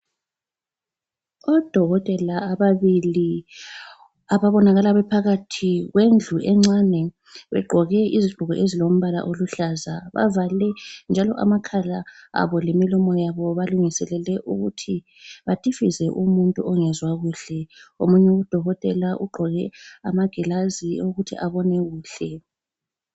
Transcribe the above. ODokotela ababili ababonakala bephakathi kwendlu encane begqoke izigqoko ezilombala oluhlaza bavale njalo amakhala abo lemilomo yabo balungiselele ukuthi batifize umuntu ongezwa kuhle, omunye u Dokotela ugqoke amagilazi ukuthi abone kuhle